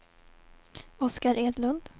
Oskar Edlund